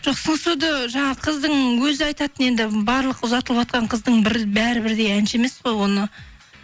жоқ сыңсуды жаңа қыздың өзі айтатын енді барлық ұзатылыватқан қыздың бәрі бірдей әнші емес қой оны